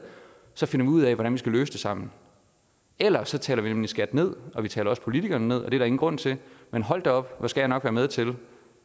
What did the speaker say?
så finder vi ud af hvordan vi skal løse det sammen ellers taler vi nemlig skat ned og vi taler også politikerne ned og det er der ingen grund til men hold da op hvor skal jeg nok være med til